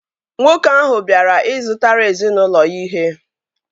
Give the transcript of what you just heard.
Nwoke ahụ bịara ị zụtara ezinaụlọ ya ihe